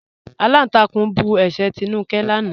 Alántàkún bú ẹ̀ṣẹ́ Tínúkẹ̀ lànà.